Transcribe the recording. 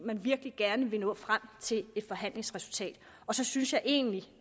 vil virkelig gerne nå frem til et forhandlingsresultat og så synes jeg egentlig